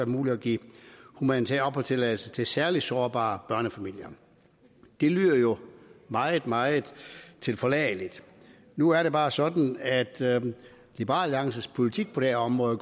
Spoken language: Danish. muligt at give humanitær opholdstilladelse til særlig sårbare børnefamilier og det lyder jo meget meget tilforladeligt nu er det bare sådan at liberal alliances politik på det område